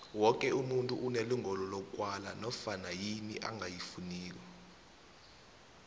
woke umuntu unelungelo lokwala nanyana yini angayifuniko